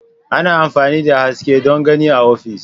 Ana amfani da haske don gani a ofis.